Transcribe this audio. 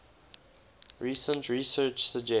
recent research suggests